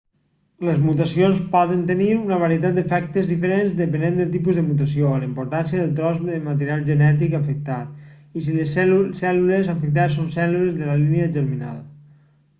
les mutacions poden tenir una varietat d'efectes diferents depenent del tipus de mutació la importància del tros de material genètic afectat i si les cèl·lules afectades són cèl·lules de la línia germinal